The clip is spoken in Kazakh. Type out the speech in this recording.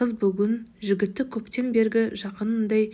қыз бүгін жігітті көптен бергі жақынындай